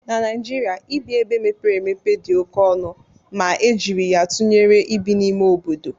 Na Naịjirịa, ibi ebe mepere emepe dị oke ọnụ ma e jiri ya tụnyere ibi n'ime obodo